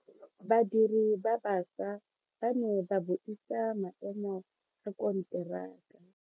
Badiri ba baša ba ne ba buisa maemo a konteraka.